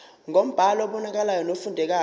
ngombhalo obonakalayo nofundekayo